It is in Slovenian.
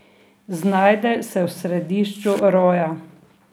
Znajde se v središču roja.